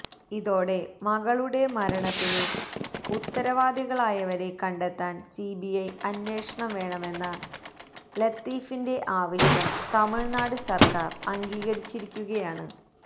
ഇതോടെ മകളുടെ മരണത്തിന് ഉത്തരവാദികളായവരെ കണ്ടെത്താന് സിബിഐ അന്വേഷണം വേണമെന്ന ലത്തീഫിന്റെ ആവശ്യം തമിഴ്നാട് സര്ക്കാര് അംഗീകരിച്ചിരിക്കുകയാണ്